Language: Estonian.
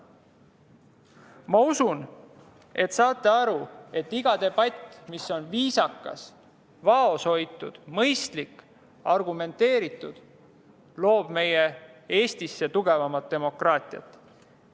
Ma usun, et te saate aru, et iga debatt, mis on viisakas, vaoshoitud, mõistlik ja argumenteeritud, loob meie Eestisse tugevamat demokraatiat.